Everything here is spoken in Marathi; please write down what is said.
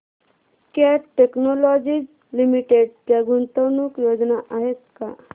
कॅट टेक्नोलॉजीज लिमिटेड च्या गुंतवणूक योजना आहेत का